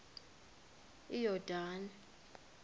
iyordane